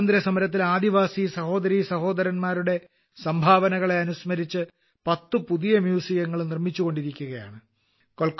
സ്വാതന്ത്ര്യസമരത്തിൽ ആദിവാസീസഹോദരീസഹോരന്മാരുടെ സംഭാവനകളെ അനുസ്മരിച്ച് 10 പുതിയ മ്യൂസിയങ്ങളും നിർമ്മിച്ചുകൊണ്ടിരിക്കുകയാണ്